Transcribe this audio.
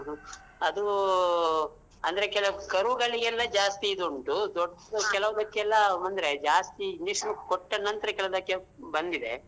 ಅದೂ ಅಂದ್ರೆ ಕೆಲವ್ ಕರುಗಳಿಗೆಲ್ಲ ಜಾಸ್ತಿ ಇದುಂಟು ದೊಡ್ದು ಕೆಲೊವಕ್ಕೆಲ್ಲಾಅಂದ್ರೆ ಜಾಸ್ತಿ injection ಕೊಟ್ಟ ನಂತ್ರ ಕೆಲೊವಕ್ಕೆ ಬಂದಿದೆ.